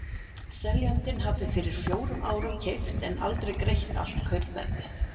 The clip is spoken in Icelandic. Seljandinn hafði fyrir fjórum árum keypt en aldrei greitt allt kaupverðið.